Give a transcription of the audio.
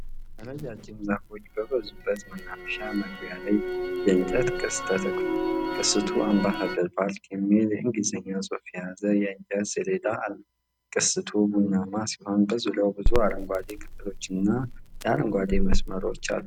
ረጃጅም ዛፎች በበዙበት መናፈሻ መግቢያ ላይ የእንጨት ቅስት ተተክሏል። ቅስቱ 'አምባሳደር ፓርክ' የሚል የእንግሊዝኛ ጽሑፍ የያዘ የእንጨት ሰሌዳ አለው። ቅስቱ ቡናማ ሲሆን በዙሪያው ብዙ አረንጓዴ ቅጠሎችና የኤሌክትሪክ መስመሮች አሉ።